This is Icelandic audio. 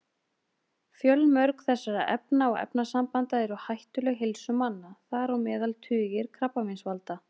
Fjölmörg þessara efna og efnasambanda eru hættuleg heilsu manna, þar á meðal tugir krabbameinsvalda.